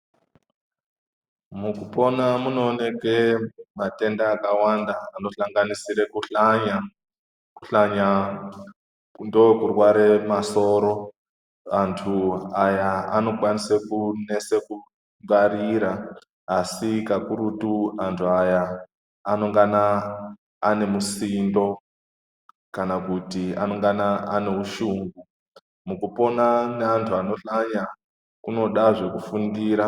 Mukupona munoonekwe matenda akawanda anosanganisire kuhlanya, kuhlanya ndokurware masoro antu aya anokwanise kunese kungwarira asi kakurutu anhu aya anongana anemusindo kana kuti anongana ane ushungu, mukupona neanhu anohlanya kunodahe kufundira.